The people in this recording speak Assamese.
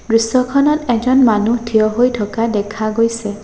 দৃশ্যখনত এজন মানুহ থিয় হৈ থকা দেখা গৈছে।